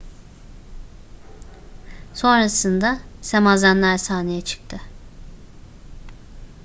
sonrasında semazenler sahneye çıktı